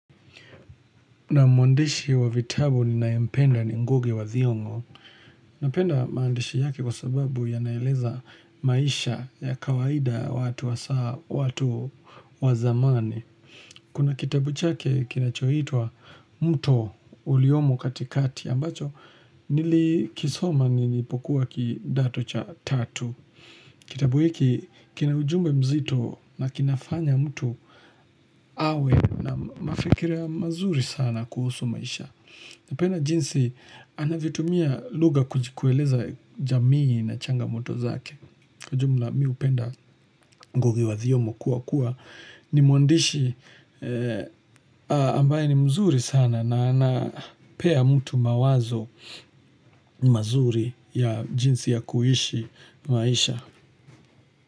Naam mwandishi wa vitabu ninaempenda ni ngugi wa thiongo. Napenda maandishi yake kwa sababu yanaeleza maisha ya kawaida watu wa zamani. Kuna kitabu chake kinachoitwa Muto Uliomo katikati ambacho nilikisoma nilipokuwa kidato cha tatu. Kitabu hiki kina ujumbe mzito na kinafanya mtu awe na mafikiria mazuri sana kuhusu maisha. Napenda jinsi anavyotumia lugha kuji kueleza jamii na changamoto zake. Jumla mi upenda ngugi wa thiongo kuwa kuwa ni mwandishi ambaye ni mzuri sana na anapea mtu mawazo mazuri ya jinsi ya kuishi maisha.